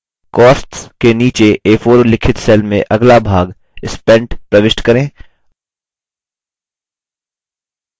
costs के नीचे a4 उल्लिखित cell में अगला भाग spent प्रविष्ट करें